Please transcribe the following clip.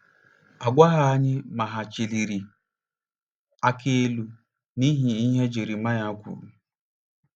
A gwaghị anyị ma hà chịliri aka elu n'ihi ihe Jeremaya kwuru.